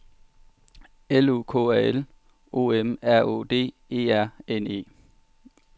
L O K A L O M R Å D E R N E